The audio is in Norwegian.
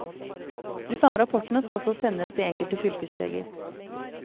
De samme rapportene skal også sendes de enkelte fylkesleger.